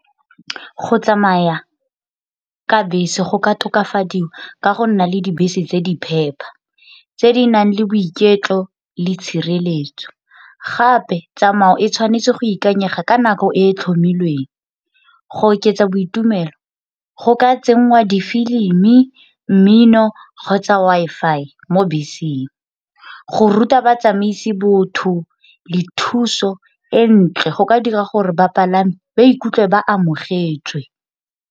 Go tsamaya ka bese go ka tokafadiwa ka go nna le dibese tse di phepa tse di nang le boiketlo le tshireletso, gape tsamao e tshwanetse go ikanyega ka nako e e tlhomilweng. Go oketsa boitumelo go ka tsenngwa difilimi, mmino kgotsa Wi-Fi mo beseng, go ruta batsamaisi botho le thuso e ntle go ka dira gore bapalami ba ikutlwe ba amogetswe.